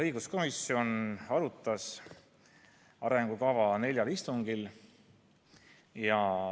Õiguskomisjon arutas arengukava neljal istungil.